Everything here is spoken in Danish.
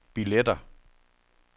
billetter